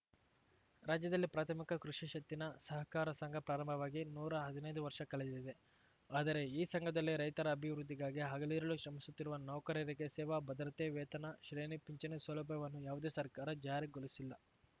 ರಾಜ್ಯದಲ್ಲಿ ಪ್ರಾಥಮಿಕ ಕೃಷಿ ಷತ್ತಿನ ಸಹಕಾರ ಸಂಘ ಪ್ರಾರಂಭವಾಗಿ ನೂರಾ ಹದಿನೈದು ವರ್ಷ ಕಳೆದಿದೆ ಆದರೆ ಈ ಸಂಘದಲ್ಲಿ ರೈತರ ಅಭಿವೃದ್ಧಿಗಾಗಿ ಹಗಲಿರುಳು ಶ್ರಮಿಸುತ್ತಿರುವ ನೌಕರರಿಗೆ ಸೇವಾ ಭದ್ರತೆ ವೇತನ ಶ್ರೇಣಿ ಪಿಂಚಣಿ ಸೌಲಭ್ಯವನ್ನು ಯಾವುದೇ ಸರ್ಕಾರ ಜಾರಿಗೊಳಿಸಿಲ್ಲ